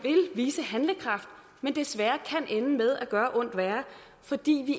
vise handlekraft men desværre kan ende med at gøre ondt værre fordi vi